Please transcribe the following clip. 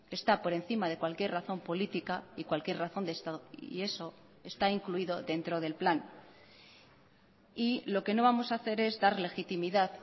está por encima de cualquier razón política y cualquier razón de estado y eso está incluido dentro del plan y lo que no vamos a hacer es dar legitimidad